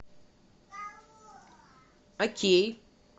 окей